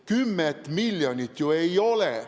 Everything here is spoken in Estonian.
10 miljonit ju ei ole.